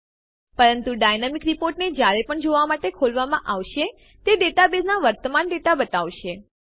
પરંતુ ડાયનામિક રીપોર્ટને જયારે પણ જોવાં માટે ખોલવામાં આવશે તે ડેટાબેઝના વર્તમાન ડેટા બતાવશે